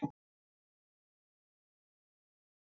En hann fékk því ekki breytt núna.